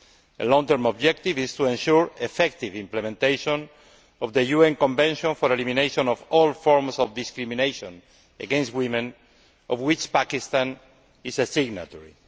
A long term objective is to ensure effective implementation of the UN Convention for Elimination of All Forms of Discrimination against Women, of which Pakistan is a signatory.